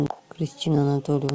кристина анатольевна